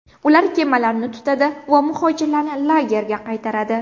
Ular kemalarni tutadi va muhojirlarni lagerga qaytaradi.